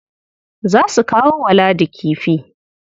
Za su kawo wa Ladi kifi.